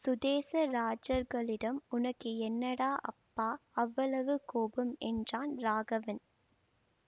சுதேச ராஜர்க்களிடம் உனக்கு என்னடா அப்பா அவ்வளவு கோபம் என்றான் ராகவன்